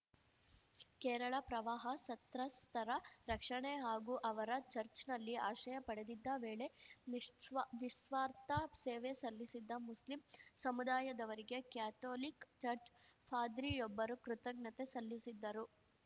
ಕೇರಳ ಪ್ರವಾಹ ಸತ್ರಸ್ತರ ರಕ್ಷಣೆ ಹಾಗೂ ಅವರು ಚಚ್‌ರ್‍ನಲ್ಲಿ ಆಶ್ರಯ ಪಡೆಯುತ್ತಿದ್ದ ವೇಳೆ ನಿಶ್ವಾ ನಿಸ್ವಾರ್ಥ ಸೇವೆ ಸಲ್ಲಿಸಿದ್ದ ಮುಸ್ಲಿಂ ಸಮುದಾಯದವರಿಗೆ ಕ್ಯಾಥೋಲಿಕ್‌ ಚರ್ಚ್ ಪಾದ್ರಿಯೊಬ್ಬರು ಕೃತಜ್ಞತೆ ಸಲ್ಲಿಸಿದ್ದರು